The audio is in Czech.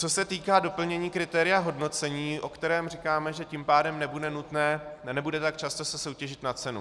Co se týká doplnění kritéria hodnocení, o kterém říkáme, že tím pádem nebude nutné, nebude tak často se soutěžit na cenu.